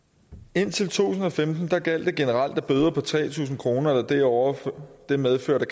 indtil to tusind og femten gjaldt det generelt at bøder på tre tusind kroner eller derover medførte